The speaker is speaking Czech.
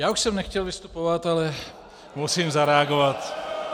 Já už jsem nechtěl vystupovat, ale musím zareagovat.